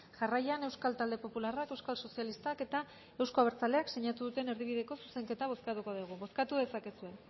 jarraian euskal talde popularrak euskal sozialistak eta euzko abertzaleak sinatu duten erdibideko zuzenketa bozkatuko dugu bozkatu dezakezue